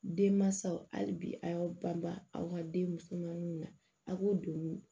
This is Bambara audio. Den mansaw hali bi a y'aw banba aw ka denmusoninw na a k'o don